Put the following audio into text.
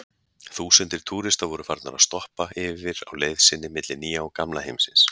Þúsundir túrista voru farnar að stoppa yfir á leið sinni milli Nýja og Gamla heimsins.